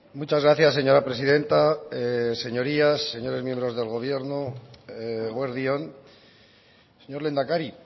muchas gracias señora presidenta señorías señores miembros del gobierno eguerdi on señor lehendakari